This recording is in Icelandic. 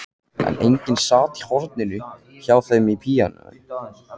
En enginn sat í horninu hjá píanóinu.